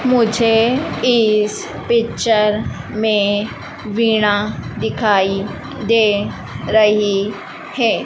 मुझे इस पिक्चर में वीना दिखाई दे रही है।